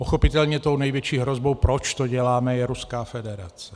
Pochopitelně tou největší hrozbou, proč to děláme, je Ruská federace.